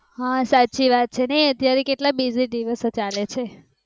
હા સાચી વાત ચેને એ અત્યારે કેટલા busy દિવસો ચાલે છે.